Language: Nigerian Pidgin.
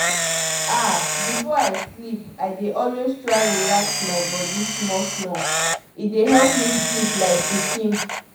ah before i sleep i dey always try relax my body small-small—e dey help me sleep like pikin.